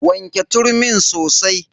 Wanke turmin sosai.